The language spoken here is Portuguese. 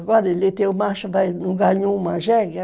Agora ele tem o macho, não ganhou uma jegue.